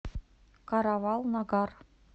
каравал нагар